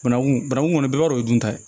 Banangun bananku bɛɛ b'a dɔ o ye dunta ye